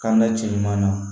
K'an ka cɛ ɲuman na